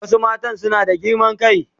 Wasu mata suna da girman kai.